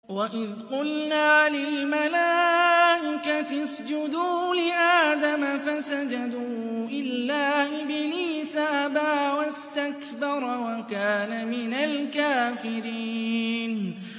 وَإِذْ قُلْنَا لِلْمَلَائِكَةِ اسْجُدُوا لِآدَمَ فَسَجَدُوا إِلَّا إِبْلِيسَ أَبَىٰ وَاسْتَكْبَرَ وَكَانَ مِنَ الْكَافِرِينَ